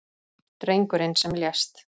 Drengurinn sem lést